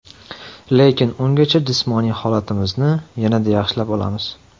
Lekin ungacha jismoniy holatimizni yanada yaxshilab olamiz.